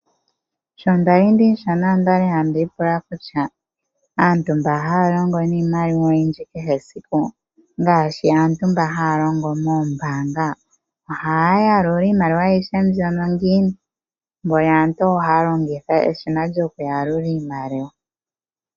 Sho nda li ndimushona onda li handi ipula kutya aantu mba haya longo niimaliwa oyindji kehe esiku ngaashi aantu mba haya longo moombanga, ohaya yalula iimaliwa ayihe mbyono ngiini mboli aantu ohaya longitha eshina lyokuyalula iimaliwa.